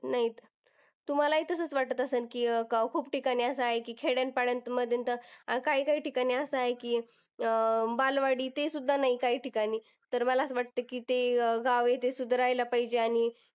नाहीत. तुम्ह्लाला ही तसेच वाटतं असेल की, अह खूप ठिकाणी असं आहे की खेड्यापाड्यामध्ये तर काही काही ठिकाणी असं आहे की अं बालवाडी ते सुद्धा नाही काही ठिकाणी. तर मला असं वाटतं ते गाव आहे ते सुधारायला पाहिजे. आणि